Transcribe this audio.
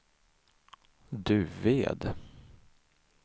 Duved